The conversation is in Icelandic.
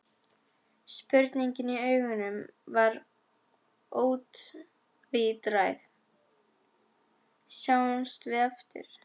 Spurningin í augunum var ótvíræð: Sjáumst við aftur?